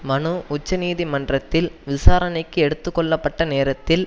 மனு உச்சநீதிமன்றத்தில் விசாரணைக்கு எடுத்து கொள்ள பட்ட நேரத்தில்